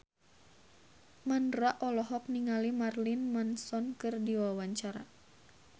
Mandra olohok ningali Marilyn Manson keur diwawancara